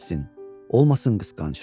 Qızı da çox sevsin, olmasın qısqanc.